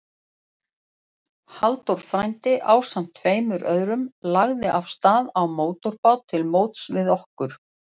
Halldór frændi, ásamt tveim öðrum, lagði af stað á mótorbát til móts við okkur.